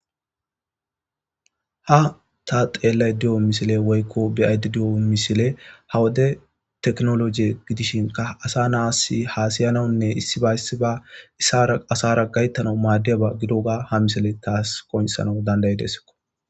Ha ta be7aide diyo misile woy ta xelayide diyo misile ha wode tikinoloje gidishinkka asa na7assi haasayanawunne issiba issiba asaara gayttanawu maadiyaaba gidogga ha misile taw qonccisanaw taw dandayideskko.